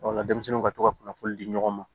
Wala denmisɛnninw ka to ka kunnafoni di ɲɔgɔn ma